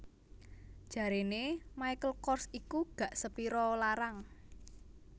Jarene Michael Kors iku gak sepiro o larang